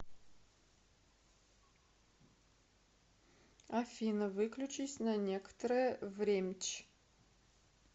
афина выключись на некторое времч